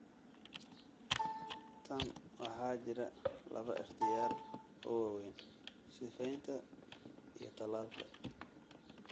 Tan waxaa jira laba ikhtiyaar oo waaweyn: sifeynta iyo tallaalka.